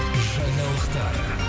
жаңалықтар